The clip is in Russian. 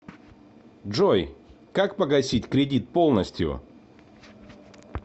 джой как погасить кредит полностью